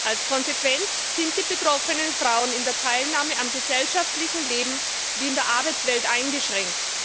Als Konsequenz sind die betroffenen Frauen in der Teilnahme am gesellschaftlichen Leben sowie in der Arbeitswelt eingeschränkt.